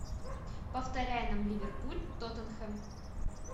повторяй нам ливерпуль тоттенхэм